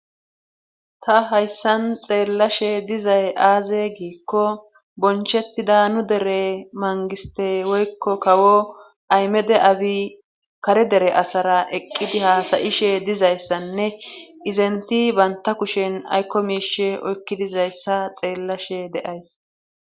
ta hayssan xeellashe dizay aaze giikko bonchettida nu dere mangiste woykko kawo aymede abi kare dere asara eqqidi haasayishe dizayssanne izenti baynta kushen aykko miishe oykki dizayssa xeellashe deays